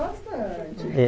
Bastante.